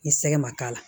Ni sɛgɛ ma k'a la